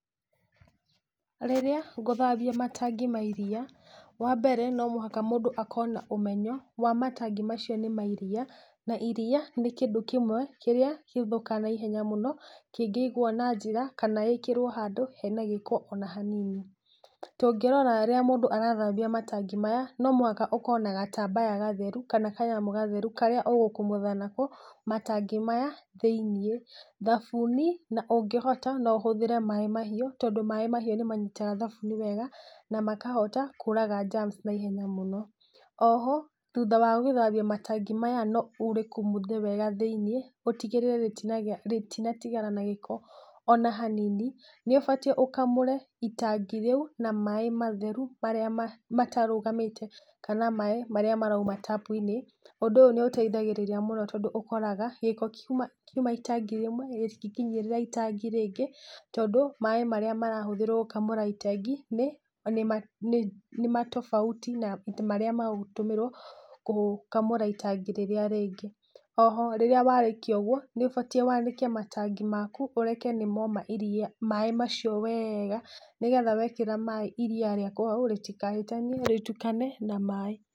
Rĩrĩa ngũthambia matangi ma iria, wa mbere no mũhaka mũndũ akorwo na ũmenyo wa matangi macio ni ma iria. Na iria nĩ kĩndũ kĩmwe kĩrĩa gĩthũkaga na ihenya mũno kingĩigwo na njĩra kana ĩkĩrwo handũ hena gĩko ona hanini. Tũngĩrora rĩrĩa mũndũ arathambia matangi maya no mũhaka ũkorwo na gatambaya gatheru, kana kanyamu gatheru karĩa ũgũkumutha nako matangi maya thĩ-inĩ. Thabuni, na ũngĩhota no ũhũthĩre maaĩ mahiũ, tondũ maaĩ mahiũ ni manyitaga thabuni wega na makahota kũũraga germs na ihenya mũno. Oho thutha wa gũthambia matangi maya no ũrĩkumuthe wega thĩ-inĩ, ũtigĩrĩre rĩtinatigara na gĩko ona hanini. Nĩ ũbatiĩ ũkamũre itangi rĩu na maaĩ matheru marĩa matarũgamĩte, kana maaĩ marĩa marauma tapu-inĩ. Ũndũ ũyũ nĩ ũteithagĩrĩria mũno tondũ ũkoraga gĩko kiuma itangi rĩmwe rĩtingĩkinyĩrĩra itangi rĩngĩ tondũ maaĩ marĩa marahũthĩrwo gũkamũra itangi ni tofauti na marĩa magamũtũmĩrwo gũkamũra itangi rĩrĩa rĩngĩ. Oho rĩrĩa warĩkia gwĩka ũguo, nĩ ũbatiĩ wanĩke matangi maku, ũreke nĩ moma maaĩ macio wega ni getha wekĩra iria rĩaku hau rĩtikahĩtanie rĩtukane na maaĩ.